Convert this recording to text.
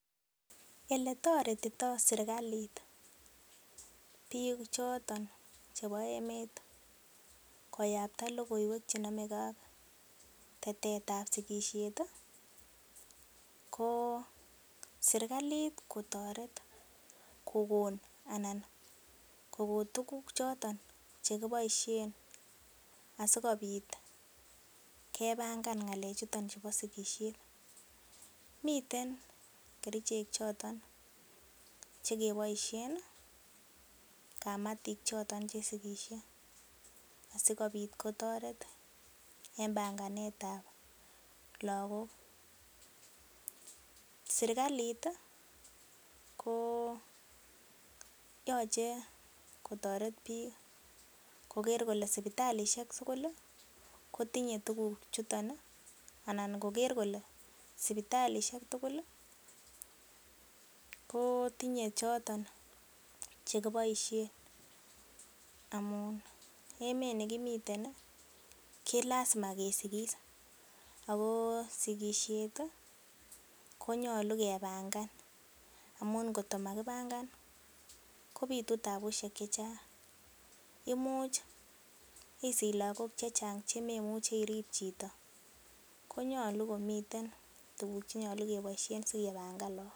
Ele toretito serkalit biik choton chebo emet koyapta logoiywek che nome ke ak tetet an sigisiet ko serkalit kotoret kogon anan kogo tuguk choton che kiboisien asikobit kepangan ng'alechuto chubo sigisiet. Miten kerichek choton che keboisien kamatik choton che sigisie asikobit kotoret en banganet ab lagok. Serkalit ko yoche kotoret biik koger kole sipitalisiek tugul kotinye tuguchutet anan koger kole sipitalisiek tugul kotinye choton ch ekiboisiien amun emet nekimiten ko lazima kesigis ago sigisiet konyolu kepangan amun ngotko makipangan kobitu tabusiek che chang. Imuchisich lagok che chang che memuchi irib chito. KOnyolu komiten tuguk che nyolu keboisien si kepangan lagok.